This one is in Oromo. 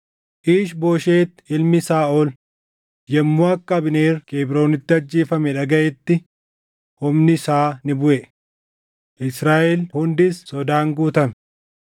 Iish-Booshet ilmi Saaʼol yommuu akka Abneer Kebroonitti ajjeefame dhagaʼetti humni isaa ni buʼe; Israaʼel hundis sodaan guutame.